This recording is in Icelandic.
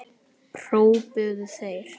hrópuðu þeir.